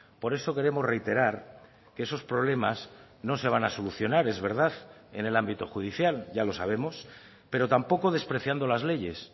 por eso queremos reiterar que esos problemas no se van a solucionar es verdad en el ámbito judicial ya lo sabemos pero tampoco despreciando las leyes